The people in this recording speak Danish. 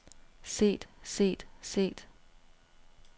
set set set